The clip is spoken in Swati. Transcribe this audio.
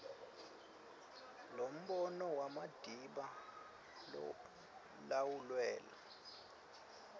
lombono madiba lawulwela